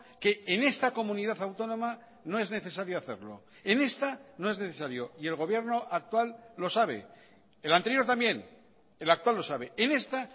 que en esta comunidad autónoma no es necesario hacerlo en esta no es necesario y el gobierno actual lo sabe el anterior también el actual lo sabe en esta